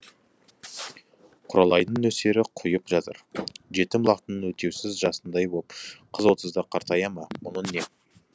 құралайдың нөсері құйып жатыр жетім лақтың өтеусіз жасындай боп қыз отызда қартая ма мұның не